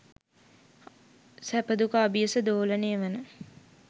සැප දුක අබියස දෝලනය වන